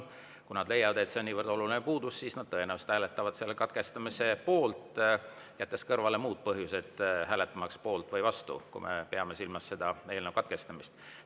Kui nad leiavad, et see on niivõrd oluline puudus, siis nad tõenäoliselt hääletavad selle katkestamise poolt, jättes kõrvale muud põhjused hääletamaks poolt või vastu, kui me peame silmas eelnõu katkestamist.